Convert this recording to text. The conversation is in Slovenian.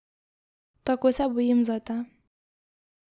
Tako se bojim zate.